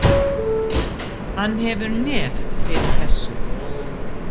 Hann hefur nef fyrir þessu.